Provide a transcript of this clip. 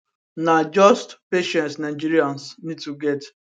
na just patience nigerians need to get